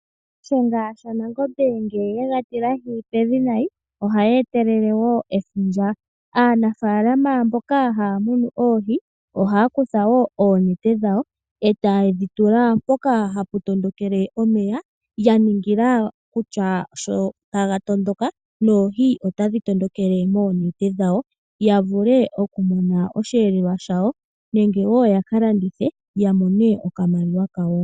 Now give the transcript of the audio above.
Shiyenga shaNangombe ngele ye ga tilahi pevi nayi, ohayi etelele wo efundja. Aanafaalama mboka haa munu oohi ohaa kutha wo oonete dhawo e taye dhi tula mpoka hapu tondokele omeya ya ningila kutya sho taga tondoka noohi otadhi tondokele moonete dhawo, ya vule okumona osheelelwa shawo nenge ya ka landithe ya mone oshimaliwa shawo.